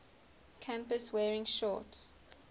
campus wearing shorts